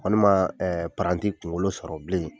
Walima ɛɛ paranti kunkolo sɔrɔ bilen